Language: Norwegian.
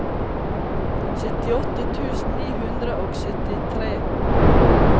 syttiåtte tusen ni hundre og syttitre